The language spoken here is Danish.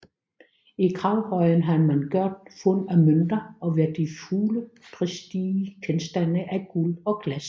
I gravhøjen har man gjort fund af mønter og værdifulde prestigegenstande af guld og glas